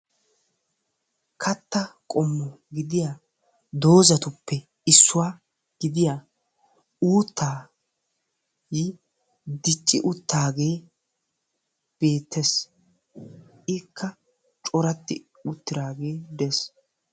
katta qoommo gidiyaa dooxxatuppe issuwaa gidiyaa uuttay diicci uttagee beettees. ikka coratti uttiragee dees.